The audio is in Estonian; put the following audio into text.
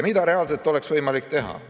Mida reaalselt oleks võimalik teha?